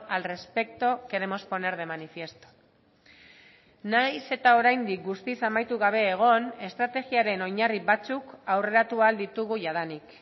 al respecto queremos poner de manifiesto nahiz eta oraindik guztiz amaitu gabe egon estrategiaren oinarri batzuk aurreratu ahal ditugu jadanik